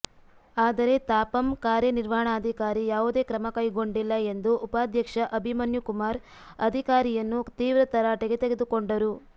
ಆದರೆ ತಾಪಂ ಕಾರ್ಯನಿರ್ವಹಣಾಧಿಕಾರಿ ಯಾವುದೇ ಕ್ರಮಕೈಗೊಂಡಿಲ್ಲ ಎಂದು ಉಪಾಧ್ಯಕ್ಷ ಅಭಿಮನ್ಯು ಕುಮಾರ್ ಅಧಿಕಾರಿಯನ್ನು ತೀವ್ರ ತರಾಟೆಗೆ ತೆಗೆದುಕೊಂಡರು